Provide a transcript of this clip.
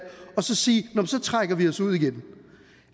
og så sige nå men så trækker vi os ud igen